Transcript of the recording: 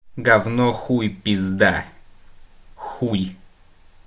гавно хуй пизда хуй